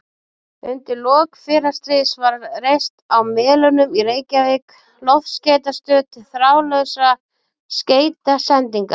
Undir lok fyrra stríðs var reist á Melunum í Reykjavík loftskeytastöð til þráðlausra skeytasendinga.